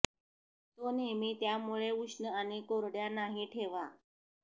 तो नेहमी त्यामुळे उष्ण आणि कोरड्या नाही ठेवा